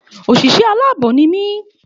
Òsìsé aláàbò ní mi